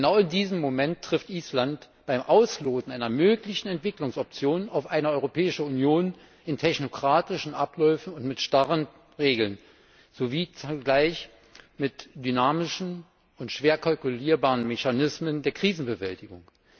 Genau in diesem Moment trifft Island beim Ausloten einer möglichen Entwicklungsoption auf eine Europäische Union in technokratischen Abläufen und mit starren Regeln sowie zugleich mit dynamischen und schwer kalkulierbaren Mechanismen der Krisenbewältigung.